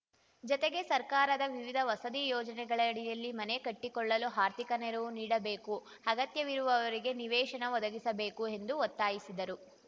ಜತೆಗೆ ಸರ್ಕಾರದ ವಿವಿಧ ವಸತಿ ಯೋಜನೆಗಳಡಿಯಲ್ಲಿ ಮನೆ ಕಟ್ಟಿಕೊಳ್ಳಲು ಆರ್ಥಿಕ ನೆರವು ನೀಡಬೇಕು ಅಗತ್ಯವಿರುವವರಿಗೆ ನಿವೇಶನ ಒದಗಿಸಬೇಕು ಎಂದು ಒತ್ತಾಯಿಸಿದರು